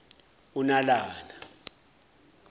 unalana